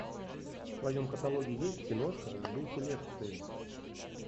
в твоем каталоге есть киношка в духе лекции